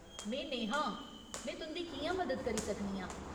में नेहा आं, में तुं'दी कि'यां मदद करी सकनी आं ?